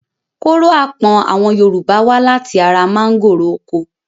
Kóró apọ̀n àwọn Yorùbá wá láti ara àwọn mángòrò oko.